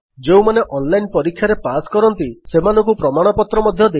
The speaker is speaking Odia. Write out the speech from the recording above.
ଯେଉଁମାନେ ଅନଲାଇନ୍ ପରୀକ୍ଷାରେ ପାସ୍ କରନ୍ତି ସେମାନଙ୍କୁ ପ୍ରମାଣପତ୍ର ମଧ୍ୟ ଦେଇଥାଉ